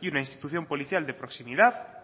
y una institución policial de proximidad